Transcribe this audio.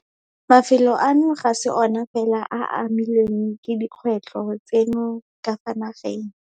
Mafelo ano ga se ona fela a a amilweng ke dikgwetlho tseno ka fa nageng.